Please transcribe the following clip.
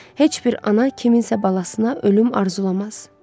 Heç bir ana kimsənin balasına ölüm arzulamaz.